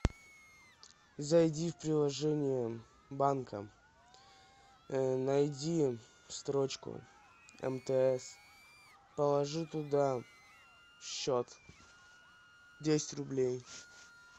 зайди в приложение банка найди строчку мтс положи туда счет десять рублей